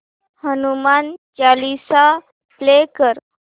Hanuman Chalisa play कर